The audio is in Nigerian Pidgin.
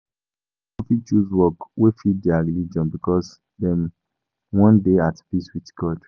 Some pipo fit choose work wey fit their religion because dem wan dey at peace with God